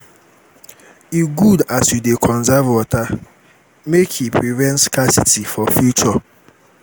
e good as you dey conserve water make e prevent scarcity for future.